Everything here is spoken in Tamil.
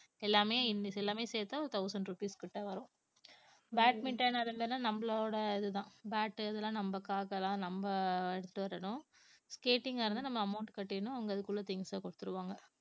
எல்லாமே இந்த எல்லாமே சேர்த்தா ஒரு thousand rupees கிட்ட வரும் badminton அது மாதிரினா நம்மளோட இதுதான் bat அதெல்லாம் நமக்காகனா நம்ம எடுத்துட்டு வரணும் skating ஆ இருந்தா நம்ம amount கட்டிடணும் அவங்க அதுக்குள்ள things அ குடுத்துடுவாங்க